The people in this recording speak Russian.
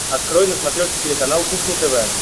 открой на смотрешке телеканал кухня тв